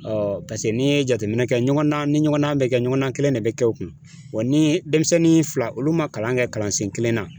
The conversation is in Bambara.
paseke n'i ye jateminɛ kɛ ɲɔgɔn na ni ɲɔgɔnna bɛ kɛ ɲɔgɔnna kelen de bɛ kɛ o kun, ni denmisɛnnin fila , olu ma kalan kɛ kalansen kelen na